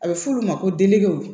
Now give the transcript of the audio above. A bɛ f'olu ma ko degew